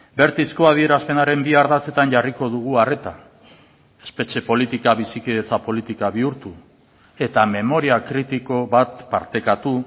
bertizko adierazpenaren bi ardatzetan jarriko dugu arreta espetxe politika bizikidetza politika bihurtu eta memoria kritiko bat partekatu